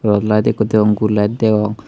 Yot light ikko degong gul light degong.